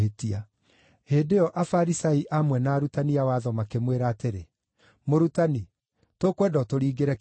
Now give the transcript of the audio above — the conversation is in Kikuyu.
Hĩndĩ ĩyo Afarisai amwe na arutani a watho makĩmwĩra atĩrĩ, “Mũrutani, tũkwenda ũtũringĩre kĩama.”